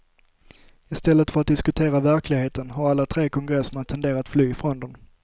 I stället för att diskutera verkligheten har alla tre kongresserna tenderat fly från den.